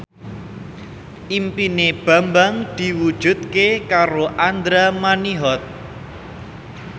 impine Bambang diwujudke karo Andra Manihot